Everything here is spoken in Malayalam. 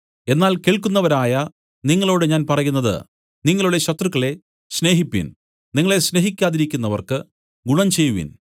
എന്നാൽ കേൾക്കുന്നവരായ നിങ്ങളോടു ഞാൻ പറയുന്നത് നിങ്ങളുടെ ശത്രുക്കളെ സ്നേഹിപ്പിൻ നിങ്ങളെ സ്നേഹിക്കാതിരിക്കുന്നവർക്കു ഗുണം ചെയ്‌വിൻ